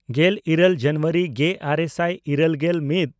ᱜᱮᱞᱤᱨᱟᱹᱞ ᱡᱟᱱᱩᱣᱟᱨᱤ ᱜᱮᱼᱟᱨᱮ ᱥᱟᱭ ᱤᱨᱟᱹᱞᱜᱮᱞ ᱢᱤᱫ